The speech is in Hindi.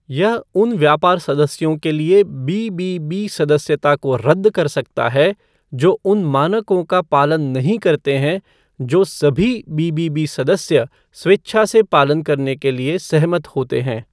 यह उन व्यापार सदस्यों के लिए बीबीबी सदस्यता को रद्द कर सकता है जो उन मानकों का पालन नहीं करते हैं जो सभी बी.बी.बी. सदस्य स्वेच्छा से पालन करने के लिए सहमत होते हैं।